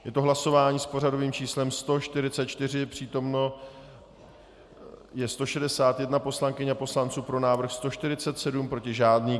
Je to hlasování s pořadovým číslem 144, přítomno je 161 poslankyň a poslanců, pro návrh 147, proti žádný.